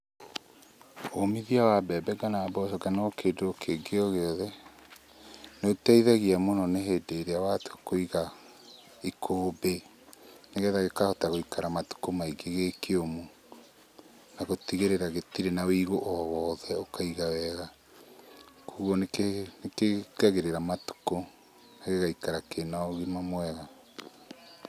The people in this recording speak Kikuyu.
Ũmithia wa mbembe kana mboco kana o kĩndũ kĩngĩ o gĩothe, nĩũteithagia mũno nĩ hĩndĩ ĩrĩa watua kũiga ikũmbĩ, nĩgetha gĩkahota gũikara matukũ maingĩ gĩ kĩũmũ. Na gũtigĩrĩra gĩtirĩ na woigũ o wothe, ũkaiga wega koguo nĩkĩongagĩrĩra matukũ gĩgaikara kĩna ũgima mwega.